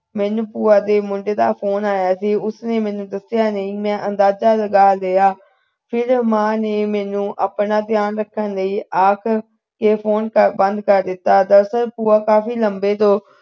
ਮੈਨੂੰ ਭੂਆ ਦੇ ਮੁੰਡੇ ਦਾ ਫੋਨ ਆਇਆ ਸੀ ਉਸ ਨੇ ਮੈਨੂੰ ਦੱਸਿਆ ਨਹੀਂ ਮੈਂ ਅੰਦਾਜਾ ਲਗਾ ਲਿਆ ਫਿਰ ਮਾਂ ਨੇ ਮੈਨੂੰ ਆਪਣਾ ਖਿਆਲ ਰੱਖਣ ਲਈ ਆਖ ਕੇ phone ਬੰਦ ਕਰ ਦਿੱਤਾ ਦਰਾਸਲ ਭੂਆ ਕਾਫੀ ਲੰਬੇ ਦੌਰ ਤੋਂ